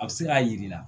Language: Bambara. A bɛ se k'a yir'i la